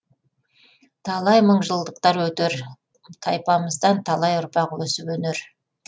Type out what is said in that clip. талай мыңжылдықтар өтер тайпамыздан талай ұрпақ өсіп өнер